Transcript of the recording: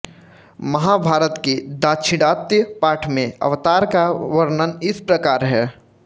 महाभारत के दाक्षिणात्य पाठ में अवतार का वर्णन इस प्रकार है